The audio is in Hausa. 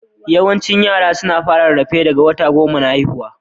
Yawaicin yara suna fara rarrafe daga wata goma da haihuwa.